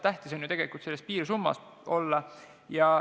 Tähtis on ju tegelikult selles piirsummas olla.